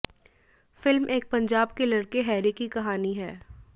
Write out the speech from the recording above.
film एक पंजाब के लड़के हैरी की कहानी है